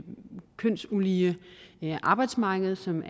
kønsulige arbejdsmarked som